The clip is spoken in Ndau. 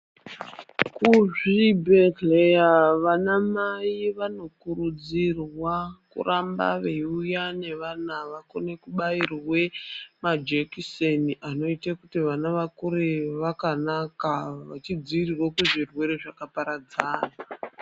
Kuzvibhedhleya vana mai vanokurudzirwa kuramba veiuya nevana vakone kubairwe majekiseni anoite kuti vana vakure vakanaka vachidziirirwa kuzvirwere zvakaparadzana.